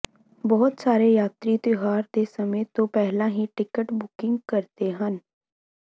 ਬਹੁਤ ਸਾਰੇ ਯਾਤਰੀ ਤਿਉਹਾਰ ਦੇ ਸਮੇਂ ਤੋਂ ਪਹਿਲਾਂ ਹੀ ਟਿਕਟ ਬੁਕਿੰਗ ਕਰਦੇ ਹਨ